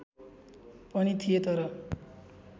पनि थिए तर